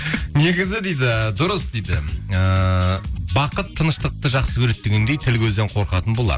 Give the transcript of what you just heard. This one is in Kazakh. негізі дейді дұрыс дейді ыыы бақыт тыныштықты жақсы көреді дегендей тіл көзден қорқатын болар